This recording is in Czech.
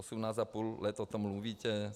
Osmnáct a půl roku o tom mluvíte.